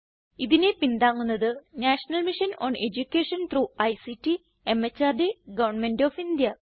ഇതിനെ പിന്താങ്ങുന്നത് national mission on education through ICT MHRD government of India